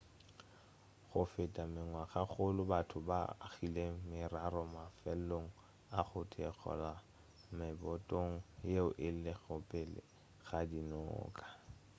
go feta mengwagakgolo batho ba agile merara mafelong a go theogela mebotong yeo e lego pele ga dinoka